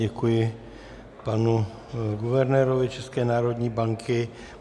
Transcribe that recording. Děkuji panu guvernérovi České národní banky.